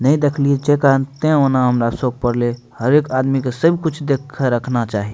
नेए देखलिए जे कारण ते हमरा शॉक पड़ले हर एक आदमी के सब कुछ देख के रखना चाही।